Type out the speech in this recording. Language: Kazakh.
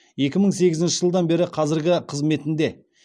екі мың сегізінші жылдан бері қазіргі қызметінде